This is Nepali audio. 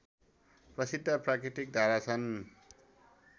प्रसिद्ध प्राकृतिक धारा छन्